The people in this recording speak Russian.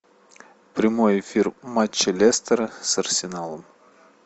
прямой эфир матча лестера с арсеналом